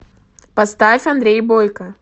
поставь андрей бойко